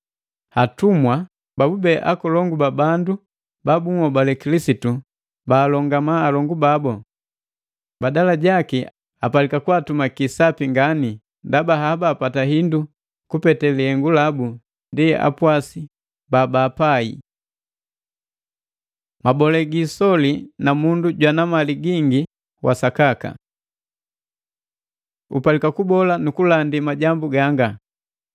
Atumwa babube akolongu babu bandu ba bunhobale Kilisitu baalongama alongu babu. Badala jaki, apalika kwaatumaki sapi nganii, ndaba haba apata hindu kupete lihengu labu ndi apwasi babaapai. Mabole gi isoli na mundu jwana mali gingi wa sakaka Upalika kubola nukulandi majambu ganga.